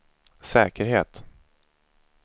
säkerhet